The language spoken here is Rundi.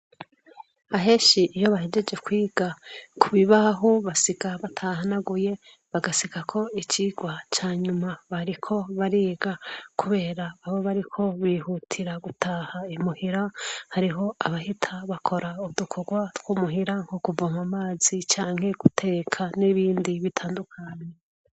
Aheshi iyo bahejeje kwiga ku bibahu basiga batahanaguye bagasika ko icigwa canyuma bariko bariga, kubera babo bariko bihutira gutaha imuhira hariho abahita bakora udukurwa tw'umuhira nko kuva mu amazi canke guteka n'ibindi ndey ibitandukani.